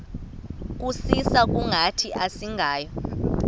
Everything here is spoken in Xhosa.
kusisa kungathi asingawo